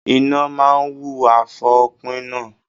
Iná máa wun àfòpiná.